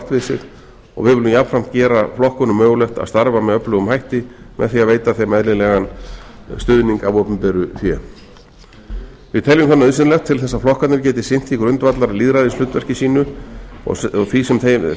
sig og við viljum jafnframt gera flokkunum mögulegt að starfa með öflugum hætti með því að veita þeim eðlilegan stuðning af opinberu fé við teljum það nauðsynlegt til þess að flokkarnir geti sinnt því grundvallarlýðræðishlutverki sínu og því sem þeim er